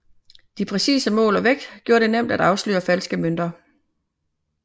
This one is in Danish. De præcise mål og vægt gjorde det nemt at afsløre falske mønter